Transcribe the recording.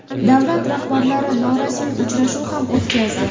Davlat rahbarlari norasmiy uchrashuv ham o‘tkazdi .